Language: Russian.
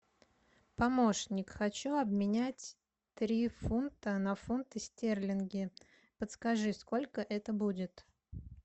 помощник хочу обменять три фунта на фунты стерлинги подскажи сколько это будет